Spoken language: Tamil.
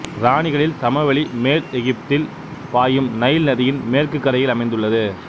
இராணிகளில் சமவெளி மேல் எகிப்தில் பாயும் நைல் நதியின் மேற்கு கரையில் அமைந்துள்ளது